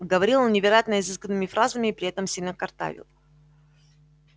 говорил он невероятно изысканными фразами и при этом сильно картавил